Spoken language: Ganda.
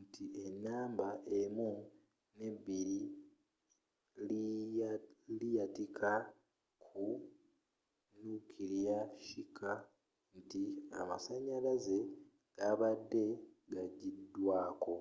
nti enamba 1 ne 2 liyakita ku nukiriya shika nti amasanyalaze gabadde ga jiddwako